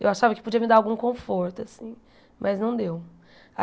Eu achava que podia me dar algum conforto, assim, mas não deu.